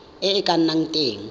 e e ka nnang teng